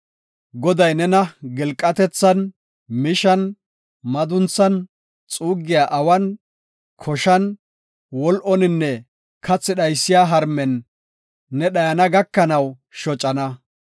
Goday nena gilqatethan, mishan, madunthan, xuuggiya awan, koshan, wol7oninne kathi dhaysiya harmen ne dhayana gakanaw shocana.